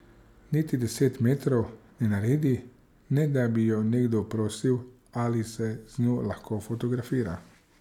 Niti deset metrov ne naredi, ne da bi jo nekdo prosil, ali se z njo lahko fotografira.